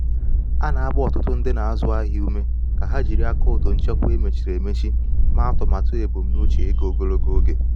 a na-agba ọtụtụ ndị na-azụ ahịa ume ka ha jiri akaụntụ nchekwa e mechiri emechi mee atụmatụ ebumnuche ego ogologo oge.